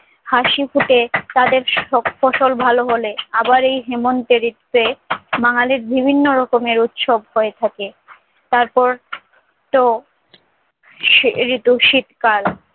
হাসি ফুটে তাদের সব ফসল ভালো হলে। আবার এই হেমন্তের ঋতুতে বাঙালির বিভিন্ন রকমের উৎসব হয়ে থাকে। তারপরতো সেই ঋতু শীতকাল